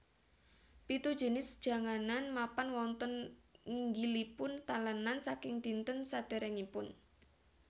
Pitu jinis janganan mapan wonten nginggilipun talenan saking dinten sedèrèngipun